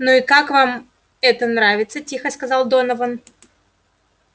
ну и как вам это нравится тихо сказал донован